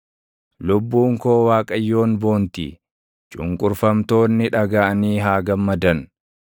Lubbuun koo Waaqayyoon boonti; cunqurfamtoonni dhagaʼanii haa gammadan.